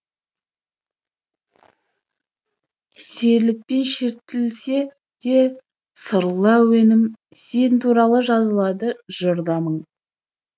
серілік пен шертілсе де сырлы әуен сен туралы жазылады жыр да мың